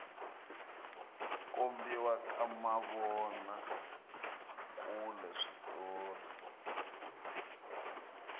kombiwa ka mavona kule switori